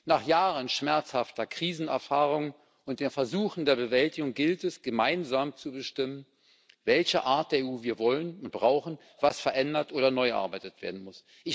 Nach Jahren schmerzhafter Krisenerfahrung und den Versuchen der Bewältigung gilt es, gemeinsam zu bestimmen, welche Art der EU wir wollen und brauchen, was verändert oder neu erarbeitet werden muss.